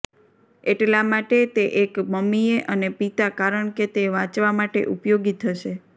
એટલા માટે તે એક મમ્મીએ અને પિતા કારણ કે તે વાંચવા માટે ઉપયોગી થશે